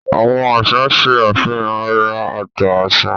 Àwọn àṣà ṣe àfihàn àrà ọ̀tọ̀ àṣà.